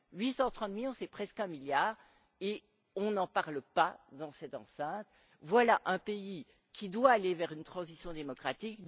830 millions, c'est presque 1 milliard et nous n'en parlons pas dans cette enceinte. Voilà un pays qui doit aller vers une transition démocratique.